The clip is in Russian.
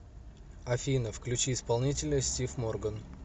афина включи исполнителя стив морган